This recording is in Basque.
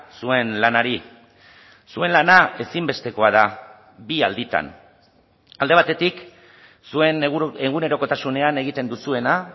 zuen lanari zuen lana ezinbestekoa da bi alditan alde batetik zuen egunerokotasunean egiten duzuena